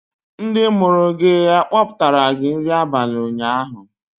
Ndị mụrụ gị kpọpụtara gị nri abalị ụnyaahụ?